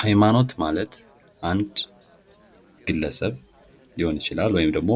ሃይማኖት ማለት አንድ ግለሰብ ሊሆን ይችላል ወይም ደግሞ